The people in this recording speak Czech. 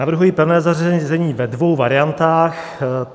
Navrhuji pevné zařazení ve dvou variantách.